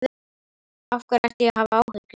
Af hverju ætti ég að hafa áhyggjur?